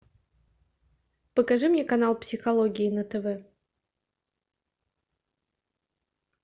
покажи мне канал психологии на тв